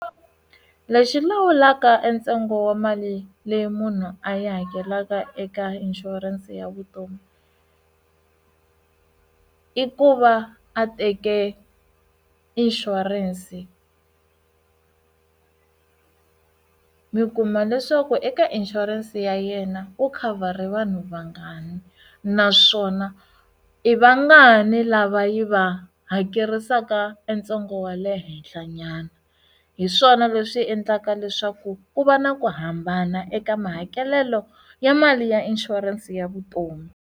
Lexi lawulaka entsengo wa mali leyi munhu a yi hakelaka eka inshurense ya vutomi i ku va a teke inshurense mi kuma leswaku eka inshurense ya yena u khavhara vanhu vangani naswona i vangani lava yi va ha hekerisaka ntsengo wa le henhla nyana hiswona leswi endlaka leswaku ku va na ku hambana eka mahakelelo ya mali ya inshurense ya vutomi.